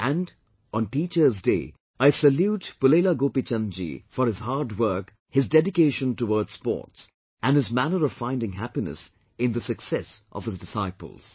And, on Teachers Day, I salute Pulela Gopi Chand ji for his hard work, his dedication towards sports and his manner of finding happiness in the success of his disciples